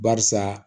Barisa